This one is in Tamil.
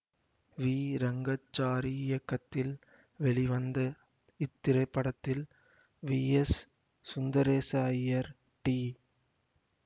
வி ரெங்கச்சாரி இயக்கத்தில் வெளிவந்த இத்திரைப்படத்தில் V S Sundaresa Iyer D